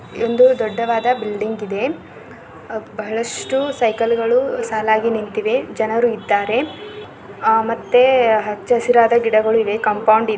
ಇಲ್ಲಿ ಬಹಳಷ್ಟು ಸೈಕಲ್ ಗಳು ಸಾಲಾಗಿ ನಿಂತಿದೆ ಮತ್ತು ಮನುಷ್ಯರು ಇದ್ದಾರೆ ಮತ್ತು ಸುತ್ತಲೂ ಗಿಡಗಳು ಸುತ್ತಲೂ ಹಚ್ಚ ಹಸಿರಿನ ಗಿಡಗಳು ಇವೆ ಇಲಿ ದೊಡ್ಡದಾ ಒಂದು ಬಿಲ್ಡಿಂಗ್ ಇದೆ ಬಹಳಷ್ಟು ಸೈಕಲ್ ಗಳು ಸಾಲಾಗಿ ನಿಂತಿದೆ ಜನರು ಇದ್ದಾರೆ ಮತ್ತೆ ಅಚ್ಚರಿನ ಗಿಡಗಳು ಇವೆ ಕಾಂಪೌಂಡ್ ಇದೆ.